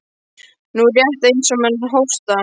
Nú, rétt eins og menn hósta.